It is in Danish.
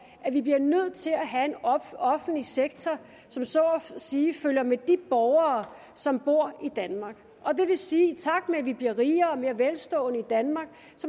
at vi bliver nødt til at have en offentlig sektor som så at sige følger med de borgere som bor i danmark det vil sige at i takt med at vi bliver rigere og mere velstående i danmark